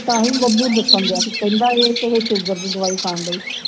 ਤਾਂ ਹੀ ਬੱਬੂ ਦਸਨ ਡੇਹਾ ਸੀ ਇਹ ਪਹਿਲੇ sugar ਦੀ ਦਵਾਈ ਖਾਂਦੀ ਸੀ